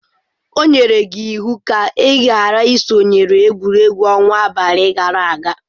O nyere gi iwu ka ị ghara isonyere egwuregwu ọnwa abalị gara aga.